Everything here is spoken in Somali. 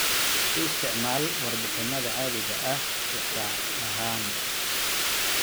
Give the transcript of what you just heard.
U isticmaal warbixinnada caadiga ah tixraac ahaan.